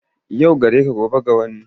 Yau gareka gobe ga wani,